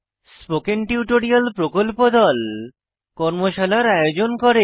spoken tutorial প্রকল্প দল কর্মশালার আয়োজন করে